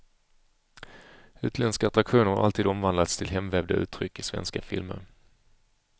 Utländska attraktioner har alltid omvandlats till hemvävda uttryck i svenska filmer.